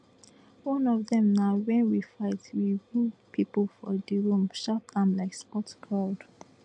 one of dem na wen we fight we win pipo for di room shout am like sports crowd